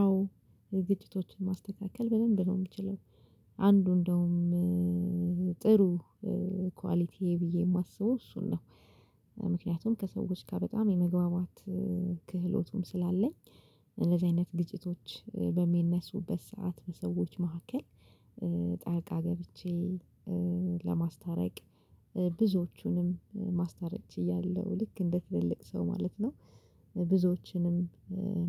አዎ ግጭቶችን ማስተካከል በደንብ ነው የምችለው። አንዱ እንደውም ጥሩ ኳሊቲ ብዬ የማስበው እሱን ነው። ምክንያቱም ከሰዎች ጋር በጣም የመግባባት ክህሎቱም ስላለኝ። እንደዚህ አይነት ግጭቶች በሚነሱበት ሰዓት በሰዎች መካከል። ጣልቃ ገብቼ ለማስታረቅ ብዙዎቹንም ማስታረቅ ችያለሁ ልክ እንደ ትልልቅ ሰው ማለት ነው። ብዙዎችንም